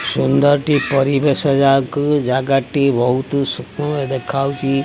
ସୁନ୍ଦର ଟି ପରିବେଶ ଯାହାକୁ ଜାଗାଟି ବୋହୁତ୍ ସୁକ୍ଷ୍ମ ଦେଖାହୋଉଚି।